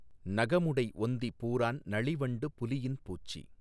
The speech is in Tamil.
நகமுடை ஒந்தி பூரான் நளிவண்டு புலியின் பூச்சி